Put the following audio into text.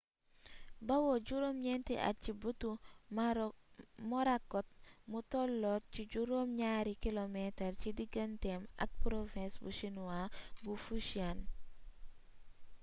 bawoo ci juróom ñeenti at ci bëtu morakot mu tolloot ci juróom ñaari kilomeetar ci diganteem ak province bu chinois bu fujian